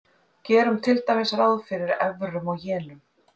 Gerum til dæmis ráð fyrir evrum og jenum.